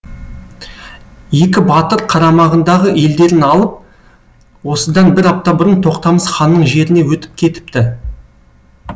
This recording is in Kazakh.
екі батыр қарамағындағы елдерін алып осыдан бір апта бұрын тоқтамыс ханның жеріне өтіп кетіпті